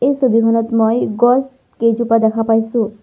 এই ছবিখনত মই গছকেইজোপা দেখা পাইছোঁ।